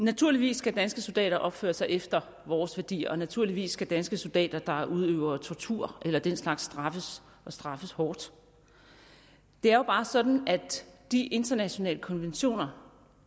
naturligvis skal danske soldater opføre sig efter vores værdier og naturligvis skal danske soldater der udøver tortur eller den slags straffes og straffes hårdt det er jo bare sådan at de internationale konventioner